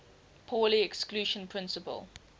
pauli exclusion principle